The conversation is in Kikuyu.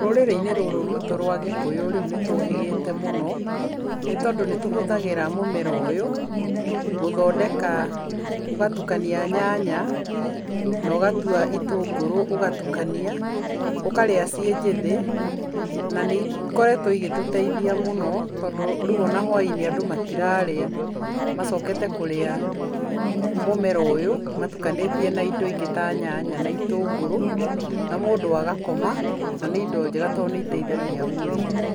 Rũrĩrĩ-inĩ rũrũ rwitũ rwa gĩkũyũ rĩu nĩ tũũhĩgĩte mũno, nĩ tondũ nĩ tũhũthagĩra mũmera ũyũ gũthondeka, ũgatukania nyanya na ũgatua itũngũrũ ũgatukania, ũkarĩa ciĩ njĩthĩ na nĩ ikoretwo igĩtuteithia mũno, tondũ rĩu o na hwa-inĩ andũ matirarĩa, macokete kũrĩa mũmera ũyũ matukanĩtie na indo ingĩ ta nyanya na itũngũrũ na mũndũ agakoma na nĩ indo njega, tondũ nĩ iteithagia mwĩrĩ.